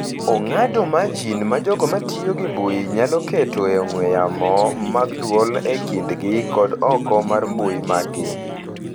Ong’ado marjin ma jogo ma tiyo gi mbui nyalo keto e ong'we yamo mag dwol e kindgi kod oko mar mbui maggi.